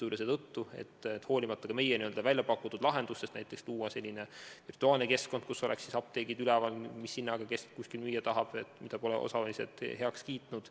Me oleme küll välja pakkunud lahenduse luua näiteks selline virtuaalne keskkond, kus oleks apteegid üleval ja kõigile näha, mis hinnaga kes kuskil müüa tahab, aga osalised pole seda heaks kiitnud.